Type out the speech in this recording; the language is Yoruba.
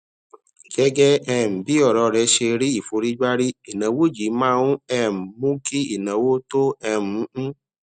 gégé um bí òrò rè ṣe rí ìforígbárí ìnáwó yìí máa ń um mú kí ìnáwó tó um ń